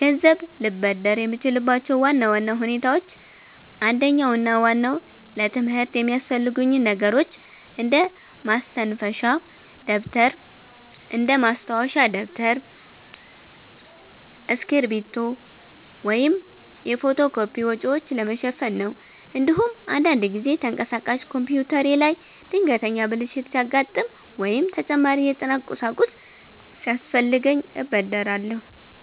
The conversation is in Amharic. ገንዘብ ልበደር የምችልባቸው ዋና ዋና ሁኔታዎች አንደኛውና ዋናው ለትምህርት የሚያስፈልጉኝን ነገሮች እንደ ማስተንፈሻ ደብተር፣ እስክሪብቶ ወይም የፎቶ ኮፒ ወጪዎችን ለመሸፈን ነው። እንዲሁም አንዳንድ ጊዜ ተንቀሳቃሽ ኮምፒውተሬ ላይ ድንገተኛ ብልሽት ሲያጋጥም ወይም ተጨማሪ የጥናት ቁሳቁስ ሲያስፈልገኝ እበደራለሁ።